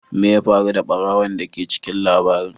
Me ya faru da barawon da ke cikin labarin?